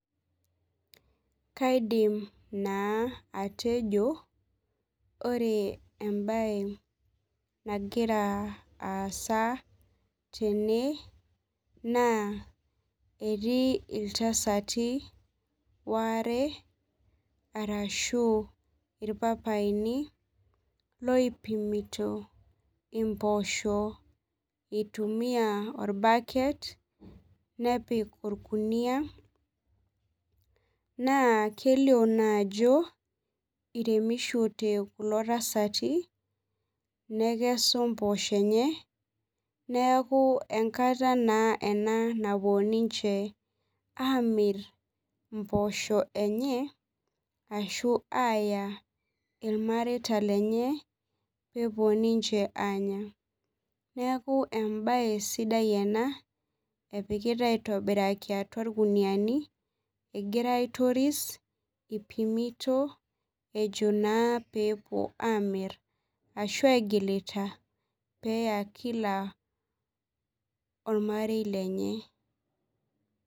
Kaidim naa atejo ore embae nagira aasa tene naa etii iltasati waare arashu ilpapayini loipimito imboosho itumiya olbaket nepik olkuniyia, naa kelio naajo iremishote kulo tasati nekesu imboosho enye, neeku enkata naa napuo ninje amir imboosho enye ashu aaya ilmareita lenye peepuo ninje aanya. Neeku embae sidai ena, epikita aitobiraki atua ilkuniyiani egira aitoris, ipimito ejo naa peepuo amir, ashu egilita peeya kila olmarei lenye.